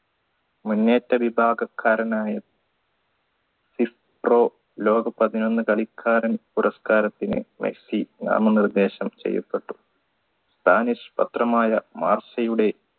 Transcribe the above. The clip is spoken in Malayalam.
മുന്നേറ്റ വിഭാഗക്കാരനായ pro ലോക പതിനൊന്ന് കളിക്കാരൻ പുരസ്കാരത്തിന് മെസ്സി നാമം നിർദ്ദേശം ചെയ്യപ്പെട്ടു spanish പത്രമായ